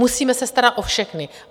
Musíme se starat o všechny.